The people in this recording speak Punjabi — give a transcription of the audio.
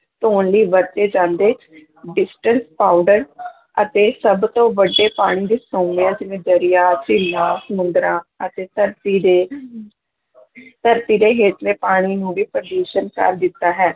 ਧੌਣ ਲਈ ਵਰਤੇ ਜਾਂਦੇ ਡਿਟਰਜੈਂਟ ਪਾਊਡਰ ਅਤੇ ਸਭ ਤੋਂ ਵੱਡੇ ਪਾਣੀ ਦੇ ਸੋਮਿਆਂ ਜਿਵੇਂ ਦਰਿਆ ਝੀਲਾਂ, ਸਮੁੰਦਰਾਂ ਅਤੇ ਧਰਤੀ ਦੇ ਧਰਤੀ ਦੇ ਹੇਠਲੇ ਪਾਣੀ ਨੂੰ ਵੀ ਪ੍ਰਦੂਸ਼ਣ ਕਰ ਦਿੱਤਾ ਹੈ।